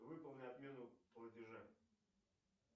выполни отмену платежа